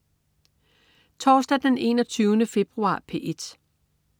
Torsdag den 21. februar - P1: